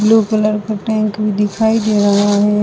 Blue colour का tank भी दिखाई दे रहा है।